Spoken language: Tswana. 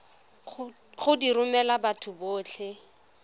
go di romela batho botlhe